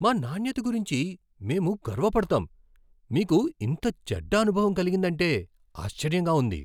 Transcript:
మా నాణ్యత గురించి మేము గర్వపడతాం, మీకు ఇంత చెడ్డ అనుభవం కలిగిందంటే ఆశ్చర్యంగా ఉంది.